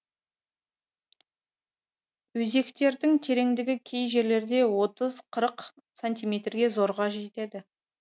өзектердің тереңдігі кей жерлерде отыз қырық сантиметрге зорға жетеді